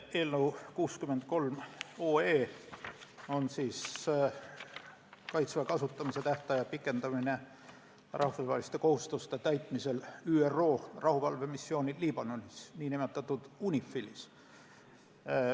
Eelnõu 63 on Kaitseväe kasutamise tähtaja pikendamine rahvusvaheliste kohustuste täitmisel ÜRO rahuvalvemissioonil Liibanonis nn UNIFIL-is.